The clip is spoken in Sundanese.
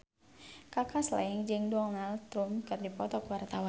Kaka Slank jeung Donald Trump keur dipoto ku wartawan